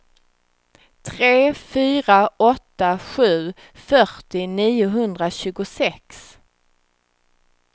tre fyra åtta sju fyrtio niohundratjugosex